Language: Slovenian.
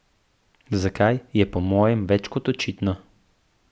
Zakaj, je po mojem več kot očitno.